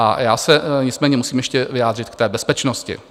A já se nicméně musím ještě vyjádřit k té bezpečnosti.